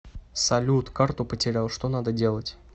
салют карту потерял что надо делать